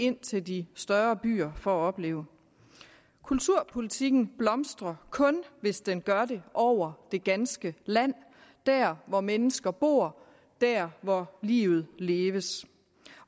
ind til de større byer for at opleve kulturpolitikken blomstrer kun hvis den gør det over det ganske land der hvor mennesker bor der hvor livet leves